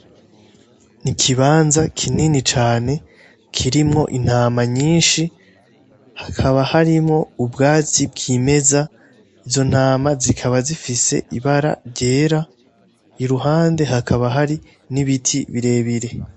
Ni ikibanza kinini cane kirimwo intama nyinshi hakaba harimwo ubwatsi bw'imeza izo ntama zikaba zifise ibara ryera i ruhande hakaba hari n'ibiti birebire.